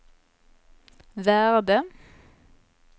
värde